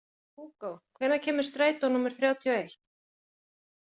Hugó, hvenær kemur strætó númer þrjátíu og eitt?